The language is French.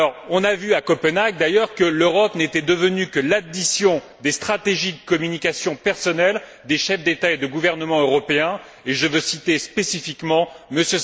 On a vu à Copenhague, d'ailleurs, que l'Europe n'était devenue que l'addition des stratégies de communication personnelles des chefs d'État et de gouvernement européens, et je veux citer spécifiquement M.